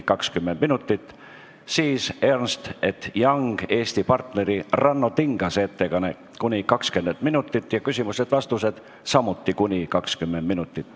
Järgmiseks on EY Eesti partneri Ranno Tingase ettekanne ja küsimused-vastused .